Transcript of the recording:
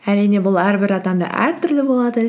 әрине бұл әрбір адамда әртүрлі болады